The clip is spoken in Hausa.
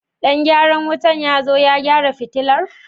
Ɗan gyaran wutar ya zo ya gyara fitilar?